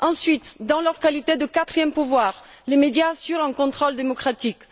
Ensuite, en leur qualité de quatrième pouvoir, les médias assurent un contrôle démocratique.